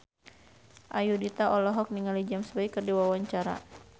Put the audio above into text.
Ayudhita olohok ningali James Bay keur diwawancara